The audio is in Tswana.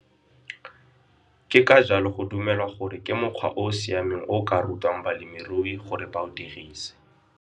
Ke ka jalo go dumelwa gore ke mokgwa o o siameng o o ka rutwang balemirui gore ba o dirise.